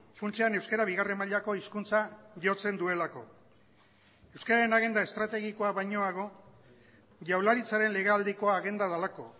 funtsean euskara bigarren mailako hizkuntza jotzen duelako euskararen agenda estrategikoa bainoago jaurlaritzaren legealdiko agenda delako